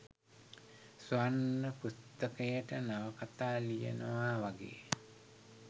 ස්වර්ණ පුස්තකයට නවකතා ලියනවා වගේ